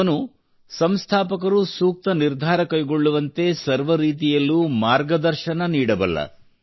ಅವನು ಸಂಸ್ಥಾಪಕರು ಸೂಕ್ತ ನಿರ್ಧಾರ ಕೈಗೊಳ್ಳುವಂತೆ ಸರ್ವ ರೀತಿಯಲ್ಲೂ ಮಾರ್ಗದರ್ಶನ ನೀಡಬಲ್ಲ